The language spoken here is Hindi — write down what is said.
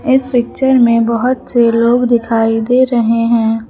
इस पिक्चर में बहुत से लोग दिखाई दे रहे हैं।